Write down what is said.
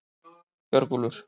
Björgúlfur